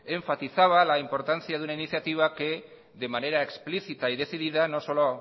enfatizaba la importancia de una iniciativa que de manera explícita y decidida no solo